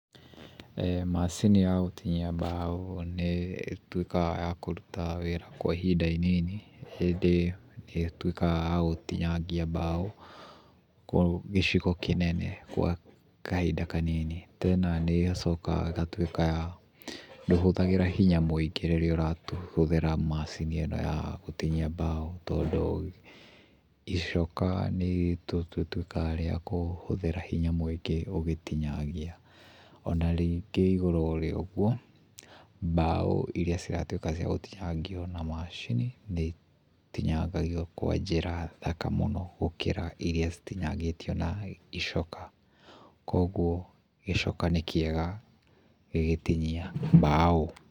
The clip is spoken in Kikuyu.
Macini ya gutinia mbao nĩ ĩtuĩkaga ya kũruta wĩra kwa ihinda inini, hĩndĩ ĩtuĩkaga ya gũtinagia mbao gĩcigo kĩnene gwa kahinda kanini. Tena nĩ ĩgacoka ĩgatuĩka ya ndũhũthagĩra hinya mũingĩ rĩrĩa ũrahũthĩra macini ĩno ya gũtinia mbao, tondũ icoka nĩ tũtuĩkaga rĩa kũhũthĩra hinya mũingĩ ũgĩtinangia. Ona rĩngĩ igũrũ rĩa ũguo mbao irĩa ciratuĩka cia gũtinangio na macini nĩ itinangagio kwa njĩra thaka mũno gũkĩra irĩa citinangĩtio na icoka. Kwoguo gĩcoka nĩ kĩega gĩgĩtinia mbao.